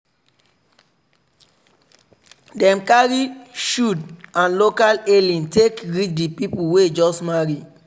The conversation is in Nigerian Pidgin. dem carry shoud and local hailing take greet the people wey just marry.